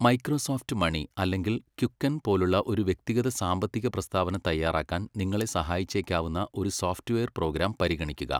Microsoft money' അല്ലെങ്കിൽ 'Quicken ' പോലുള്ള ഒരു വ്യക്തിഗത സാമ്പത്തിക പ്രസ്താവന തയ്യാറാക്കാൻ നിങ്ങളെ സഹായിച്ചേക്കാവുന്ന ഒരു സോഫ്റ്റ്‌വെയർ പ്രോഗ്രാം പരിഗണിക്കുക.